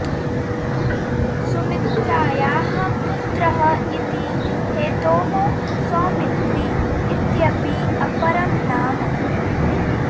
सुमित्रायाः पुत्रः इति हेतोः सौमित्री इत्यपि अपरं नाम